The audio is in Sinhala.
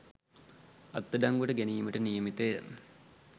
අත්අඩංගුවට ගැනීමට නියමිතය